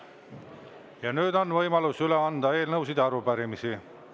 Ja nüüd on võimalus üle anda eelnõusid ja arupärimisi.